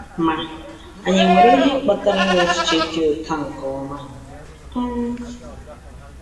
Ma, anyị nwere ihe kpatara ịnwe echiche dị otú a nke ọma? um